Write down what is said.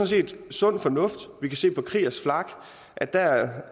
set sund fornuft vi kan se på kriegers flak at der